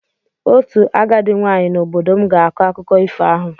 Otu agadi nwaanyị n'obodo m ga-akọ akụkọ ifo ahụ.